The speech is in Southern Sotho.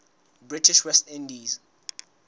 british west indies